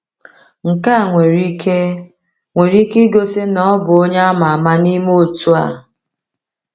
Nke a nwere ike nwere ike igosi na ọ bụ onye ama ama n’ime otu a.